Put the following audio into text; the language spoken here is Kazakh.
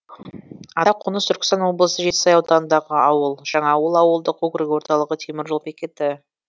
атақоныс түркістан облысы жетісай ауданындағы ауыл жаңаауыл ауылдық округі орталығы темір жол бекеті